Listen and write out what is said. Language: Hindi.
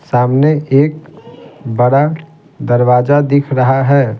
सामने एक बड़ा दरवाजा दिख रहा है।